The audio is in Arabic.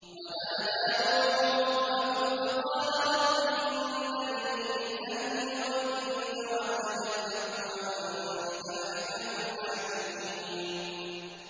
وَنَادَىٰ نُوحٌ رَّبَّهُ فَقَالَ رَبِّ إِنَّ ابْنِي مِنْ أَهْلِي وَإِنَّ وَعْدَكَ الْحَقُّ وَأَنتَ أَحْكَمُ الْحَاكِمِينَ